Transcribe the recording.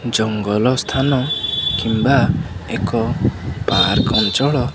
ଜଙ୍ଗଲ ସ୍ଥାନ କିମ୍ବା ଏକ ପାର୍କ ଅଞ୍ଚଳ।